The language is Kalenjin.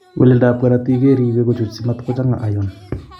Weleltab korotik keribe kochuch, simatkochanga iron